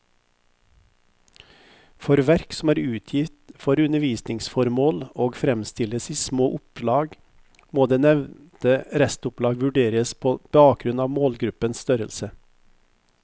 For verk som er utgitt for undervisningsformål og fremstilles i små opplag, må det nevnte restopplag vurderes på bakgrunn av målgruppens størrelse.